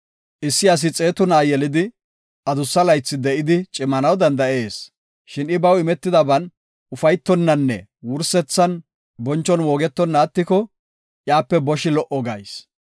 Issi asi xeetu na7a yelidi, adussa laythi de7idi cimanaw danda7ees. Shin I baw imetidaban ufaytonnanne wursethan bonchon moogetonna attiko iyape boshi lo77o gayis.